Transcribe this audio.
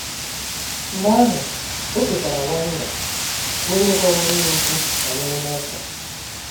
Mgbe ahụ, o chetara Wanda, bụ́ onye gwaworo ya okwu banyere Novel.